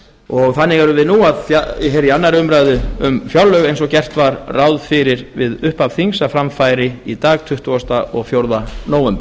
standi þannig erum við nú í annarri umræðu um fjárlög eins og gert var ráð fyrir við upphaf þings að fram færi í dag tuttugasta og fjórða nóvember